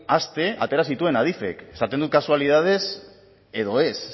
aste atera zituen adifek esaten dut kasualitatez edo ez